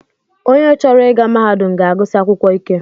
Onye chọrọ ịga mahadum ga-agụsi akwụkwọ ike